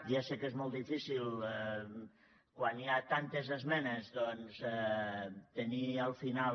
ja sé que és molt difícil quan hi ha tantes esmenes doncs tenir al final